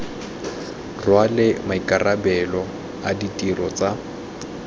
rwale maikarabelo a ditiro tsa